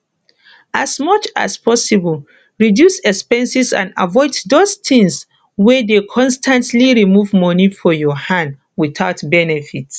as much as possible reduce expenses and avoid those things wey dey constantly remove money for your hand without benefit